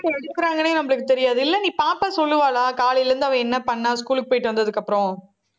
நம்மளுக்கு தெரியாது. இல்லை நீ பாப்பா சொல்லுவாளா? காலையில இருந்து அவள் என்ன பண்ணா? school க்கு போயிட்டு வந்ததுக்கு அப்புறம்